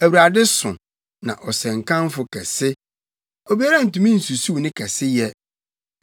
Awurade so, na ɔsɛ nkamfo kɛse; obiara ntumi nsusuw ne kɛseyɛ.